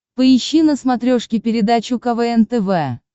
поищи на смотрешке передачу квн тв